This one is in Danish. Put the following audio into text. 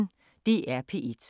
DR P1